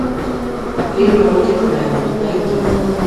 фильм рокетмен найди